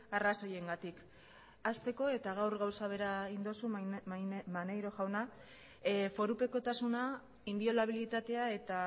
arrazoiengatik hasteko eta gaur gauza bera egin duzu maneiro jauna forupekotasuna inbiolabilitatea eta